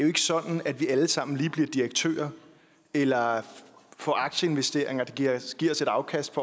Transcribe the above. jo ikke sådan at vi alle sammen lige bliver direktører eller får aktieinvesteringer der giver os et afkast